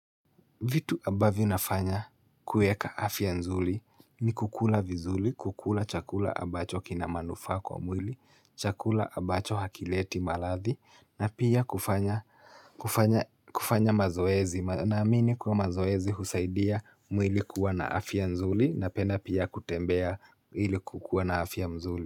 Vitu ambavyo nafanya kueka afya nzuri ni kukula vizuri, kukula chakula abacho kina manufaa kwa mwili, chakula abacho hakileti maladhi na pia kufanya kufanya mazoezi naamini kuwa mazoezi husaidia mwili kuwa na afya nzuli napenda pia kutembea ili kukuwa na afya mzuli.